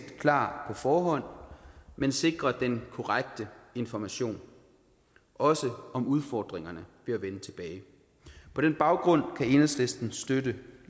klar på forhånd men sikrer den korrekte information også om udfordringerne ved at vende tilbage på den baggrund kan enhedslisten støtte